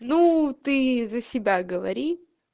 ну ты за себя говори